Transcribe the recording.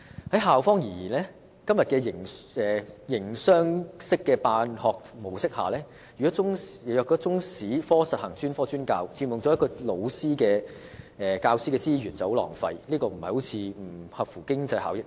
從校方的角度看，在今天營商式的辦學模式下，若中史科實行專科專教，便會佔用教師資源，這是很浪費的事，並不符合經濟效益。